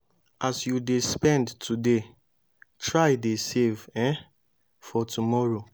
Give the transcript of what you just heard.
as you de spend today try dey save um for tomorrow